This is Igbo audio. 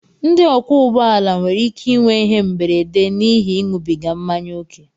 ndị ọkwọ ụgbọala nwere ike inwe ihe mberede n'ihi ịṅụbiga mmanya ókè